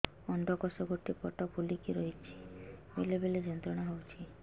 ଅଣ୍ଡକୋଷ ଗୋଟେ ପଟ ଫୁଲିକି ରହଛି ବେଳେ ବେଳେ ଯନ୍ତ୍ରଣା ହେଉଛି